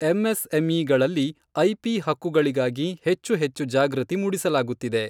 ಎಂಎಸ್ಎಂಇಗಳಲ್ಲಿ IP ಹಕ್ಕುಗಳಿಗಾಗಿ ಹೆಚ್ಚು ಹೆಚ್ಚು ಜಾಗೃತಿ ಮೂಡಿಸಲಾಗುತ್ತಿದೆ.